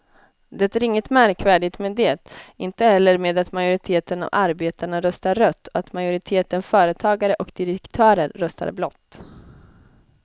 Det är inget märkvärdigt med det, inte heller med att majoriteten av arbetarna röstar rött och att majoriteten företagare och direktörer röstar blått.